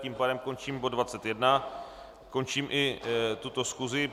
Tím pádem končím bod 21, končím i tuto schůzi.